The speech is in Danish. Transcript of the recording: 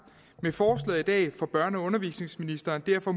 med forslaget i dag får børne og undervisningsministeren derfor